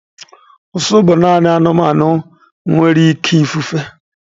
Ụsụ bụ naanị anụ anụmanụ nwere ike ịfefe